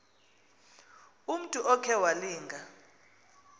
umntu okhe walinga